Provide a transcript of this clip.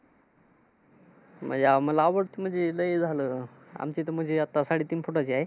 मला मला आवडते म्हणजे लय झालं. आमची तर म्हणजे आता साडेतीन फुटाची आहे.